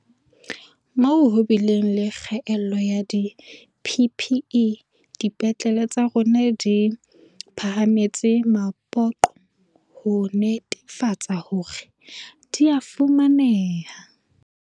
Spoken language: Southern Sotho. Moo ho bileng le kgaello ya di-PPE, dipetlele tsa rona di phahametse mapoqo ho netefatsa hore di a fumaneha.